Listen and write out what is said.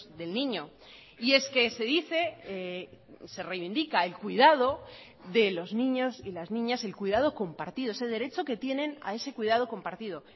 del niño y es que se dice se reivindica el cuidado de los niños y las niñas el cuidado compartido ese derecho que tienen a ese cuidado compartido